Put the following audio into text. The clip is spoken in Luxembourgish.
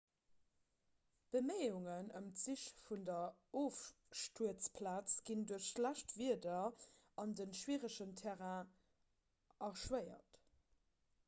beméiungen ëm d'sich vun der ofstuerzplaz ginn duerch schlecht wieder an de schwieregen terrain erschwéiert